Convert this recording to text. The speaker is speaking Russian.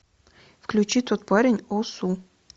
включи тот парень о су